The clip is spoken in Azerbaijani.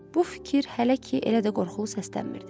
Bu fikir hələ ki elə də qorxulu səslənmirdi.